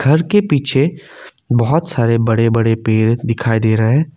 घर के पीछे बहुत सारे बड़े बड़े पेड़ दिखाई दे रहे हैं।